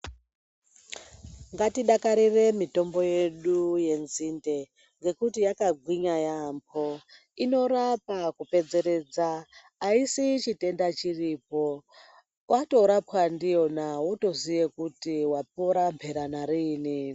Ngatidakarire mitombo yedu yenzinde nekuti takagwinya yambo inorapa kudetseredza asisiyi mitombo iripo watoraowa ndiyona wotoziva wapora ndiyona.